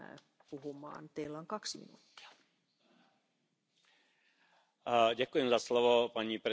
La ganadería actual no tiene nada que ver con la de hace diez años. Si no lo conocen, infórmense.